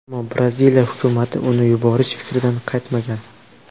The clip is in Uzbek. Ammo Braziliya hukumati uni yuborish fikridan qaytmagan.